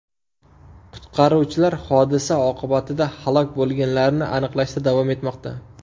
Qutqaruvchilar hodisa oqibatida halok bo‘lganlarni aniqlashda davom etmoqda.